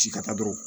Ci ka taa dɔrɔn